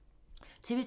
TV 2